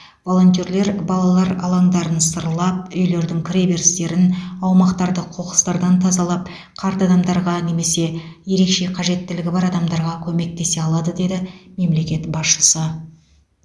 волонтерлер балалар алаңдарын сырлап үйлердің кіре берістерін аумақтарды қоқыстардан тазалап қарт адамдарға немесе ерекше қажеттілігі бар адамдарға көмектесе алады деді мемлекет басшысы